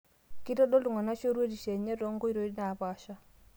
Keitodolu ltung'ana shoruetisho enye too nkoitoi naapasha